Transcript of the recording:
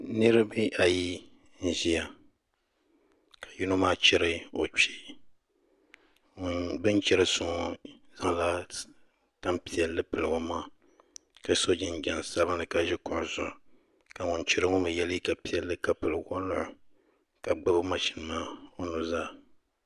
Niraba ayi n ʒiya ka yino maa chɛri o kpee bi ni chɛri so ŋo zaŋla tanpiɛlli pili o maŋa ka so jinjɛm sabinli ka ʒi kuɣu zuɣu ka ŋun chɛro ŋo mii yɛ liiga piɛlli ka pili woliɣi ka gbubi mashin maa o nuzaa